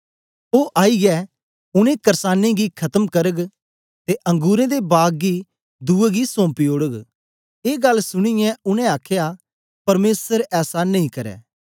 ओ आईयै उनै कर्सानें गी खत्म करग ते अंगुरें दे बाग गी दुए गी सौम्पी ओड़ग ए गल्ल सुनीयें उनै आखया परमेसर ऐसा नेई करै